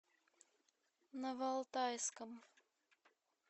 новоалтайском